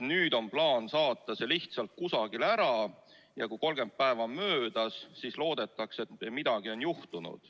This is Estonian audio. Nüüd on plaan see lihtsalt kusagile saata ja kui 30 päeva on möödas, siis loodetakse, et midagi on juhtunud.